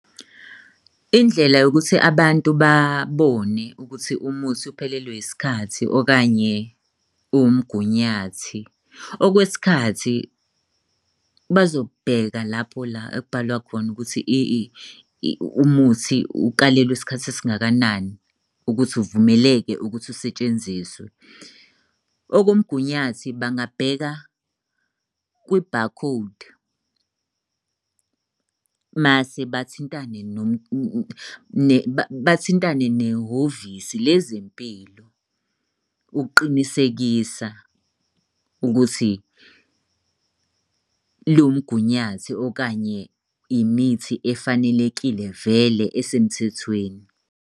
Indlela yokuthi abantu babone ukuthi umuthi uphelelwe isikhathi okanye uwumgunyathi. Okwesikhathi bazobheka lapho la ekubhalwe khona ukuthi umuthi ukalelwe isikhathi esingakanani ukuthi uvumeleke ukuthi usetshenziswe. Okomgunyathi, bangabheka kwi-barcode mase bathintane . Bathintane nehhovisi lezempilo ukuqinisekisa ukuthi lumgunyathi, okanye imithi efanelekile vele esemthethweni.